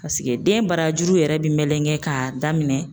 Paseke den barajuru yɛrɛ bɛ melegen k'a daminɛ